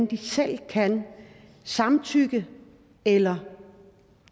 de selv kan samtykke eller